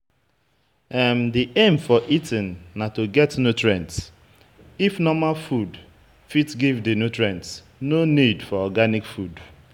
Di aim for eating na to get nutrient, if normal food fit give di nutrients, no need for organic food